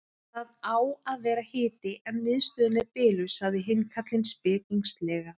Það á að vera hiti en miðstöðin er biluð sagði hinn karlinn spekingslega.